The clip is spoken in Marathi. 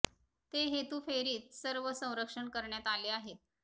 ते हेतू फेरीत सर्व संरक्षण करण्यात आले आहेत